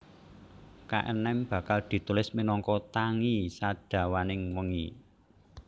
Kaenem Bakal ditulis minangka tangi sadawaning wengi